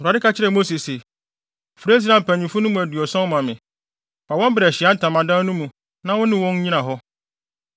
Awurade ka kyerɛɛ Mose se, “Frɛ Israelfo mpanyimfo no mu aduɔson ma me; fa wɔn bra Ahyiae Ntamadan no mu na wo ne wɔn nnyina hɔ.